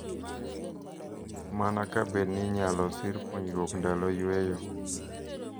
Mana kabedni inyalo sir puonjruok ndalo yweyo.